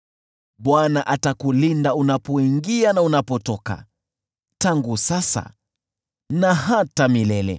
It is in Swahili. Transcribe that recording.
Bwana atakulinda unapoingia na unapotoka, tangu sasa na hata milele.